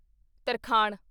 ਤਰਖਾਣ